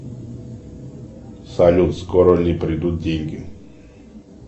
салют скоро ли придут деньги